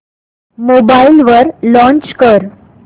mobile वर launch कर